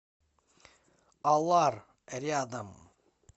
алар рядом